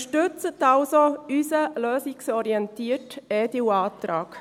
Unterstützen Sie also unseren lösungsorientierten EDU-Antrag.